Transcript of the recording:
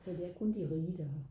så det er kun de rige der